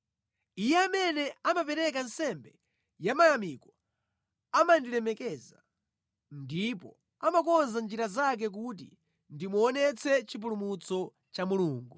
Iye amene amapereka nsembe yamayamiko amandilemekeza, ndipo amakonza njira zake kuti ndimuonetse chipulumutso cha Mulungu.”